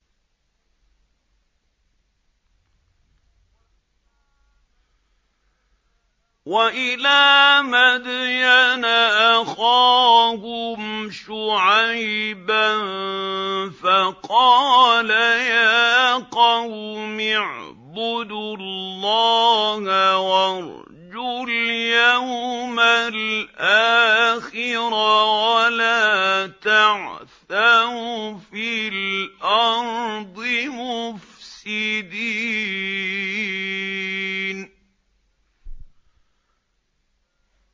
وَإِلَىٰ مَدْيَنَ أَخَاهُمْ شُعَيْبًا فَقَالَ يَا قَوْمِ اعْبُدُوا اللَّهَ وَارْجُوا الْيَوْمَ الْآخِرَ وَلَا تَعْثَوْا فِي الْأَرْضِ مُفْسِدِينَ